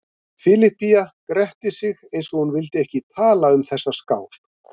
Filippía gretti sig eins og hún vildi ekki tala um þessa skál.